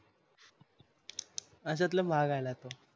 अश्यातला भाग आल तो